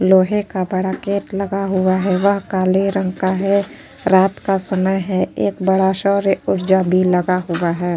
लोहे का बड़ा गेट लगा हुआ है। वह काले रंग का है। रात का समय है। एक बड़ा सौर ऊर्जा भी लगा हुआ है।